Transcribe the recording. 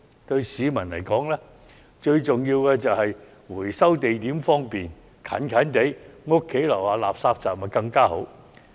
對市民來說，最重要的就是回收地點方便，垃圾站若設於住宅樓下便更好。